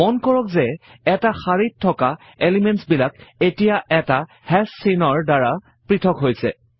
মন কৰক যে এটা শাৰীত থকা এলিমেণ্টছ বিলাক এতিয়া এটা হাশ চিহ্নৰ দ্বাৰা পৄথক হৈছে